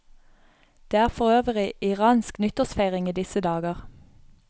Det er for øvrig iransk nyttårsfeiring i disse dager.